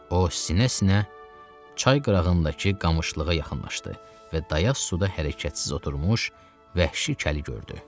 O sinə-sinə çay qırağındakı qamışlığa yaxınlaşdı və dayaz suda hərəkətsiz oturmuş vəhşi kəli gördü.